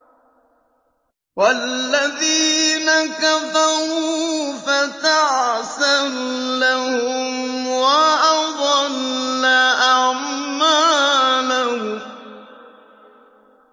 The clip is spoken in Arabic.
وَالَّذِينَ كَفَرُوا فَتَعْسًا لَّهُمْ وَأَضَلَّ أَعْمَالَهُمْ